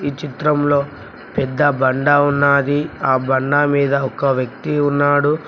ఈ చిత్రంలో పెద్ద బండ ఉన్నాది ఆ బండ మీద ఒక వ్యక్తి ఉన్నాడు.